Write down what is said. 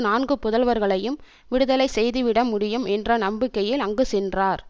நான்கு புதல்வர்களையும் விடுதலை செய்து விட முடியும் என்ற நம்பிக்கையில் அங்கு சென்றார்